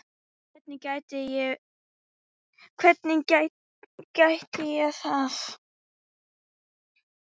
Hvernig gæti ég það?